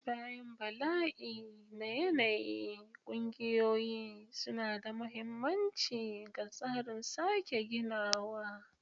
Bayan bala'i na yanayi, ƙungiyoyi suna da mahimmanci ga tsarin sake ginawa.